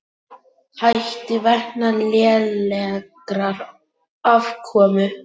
Hætti vegna lélegrar afkomu